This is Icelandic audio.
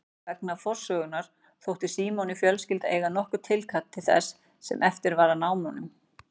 Vegna forsögunnar þótti Símoni fjölskyldan eiga nokkurt tilkall til þess sem eftir var af námunum.